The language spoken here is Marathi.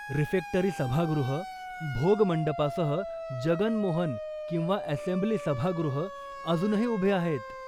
रिफेक्टरी सभागृह, भोग मंडपासह जगन मोहन किंवा असेंब्ली सभागृह अजूनही उभे आहेत.